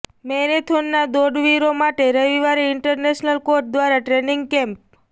મેરેથોનના દોડવીરો માટે રવિવારે ઈન્ટરનેશનલ કોચ દ્વારા ટ્રેનિંગ કેમ્પ